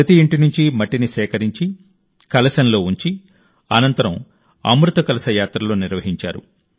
ప్రతి ఇంటి నుంచి మట్టిని సేకరించి కలశంలో ఉంచి అనంతరం అమృత కలశ యాత్రలు నిర్వహించారు